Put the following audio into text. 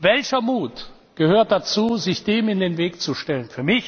Welcher Mut gehört dazu, sich dem in den Weg zu stellen!